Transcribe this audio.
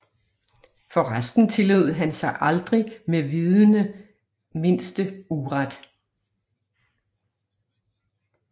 For resten tillod han sig aldrig med vidende mindste uret